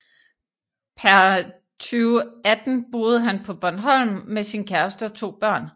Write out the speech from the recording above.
Per 2018 boede han på Bornholm med sin kæreste og to børn